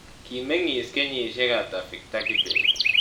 Kimeng'iis kenyisiek ata victor kibet